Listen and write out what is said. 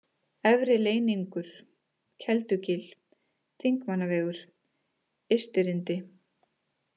Efri-Leyningur, Keldugil, Þingmannavegur, Ystirindi